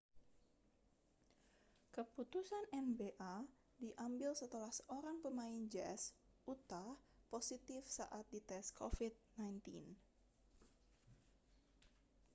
keputusan nba diambil setelah seorang pemain jazz utah positif saat dites covid-19